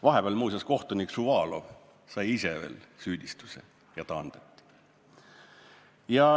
Vahepeal sai kohtunik Šuvalov muuseas ise veel süüdistuse ja taandati.